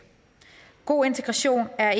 god integration er